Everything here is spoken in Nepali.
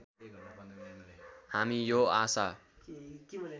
हामी यो आशा